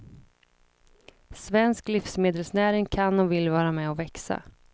Svensk livsmedelsnäring kan och vill vara med och växa.